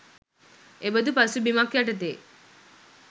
එබඳු පසුබිමක් යටතේ